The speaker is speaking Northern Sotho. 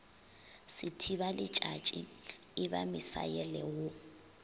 sethibaletšatši e ba misaele wo